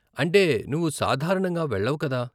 అంటే, నువ్వు సాధారణంగా వెళ్లవు కదా.